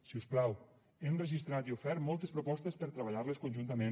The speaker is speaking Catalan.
si us plau hem registrat i ofert moltes propostes per a treballar les conjuntament